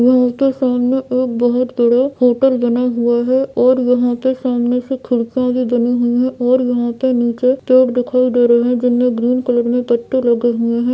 यहाँ के सामने एक बहुत बड़ा होटल बना हुआ है और यहाँ के सामने से खिड़किया भी गिनी हुई है और यहाँ पे निचे पेड़ दिखाई दे रहे है जिनमे ग्रीन कलर में पत्ते लगे हुए है।